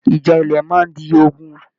Ìjà ilẹ máa n di ogún.